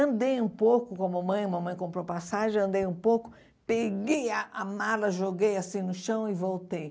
Andei um pouco com a mamãe, a mamãe comprou passagem, andei um pouco, peguei a a mala, joguei assim no chão e voltei.